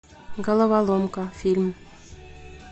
головоломка фильм